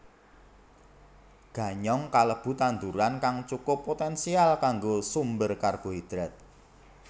Ganyong kalebu tanduran kang cukup poténsial kanggo sumber karbohidrat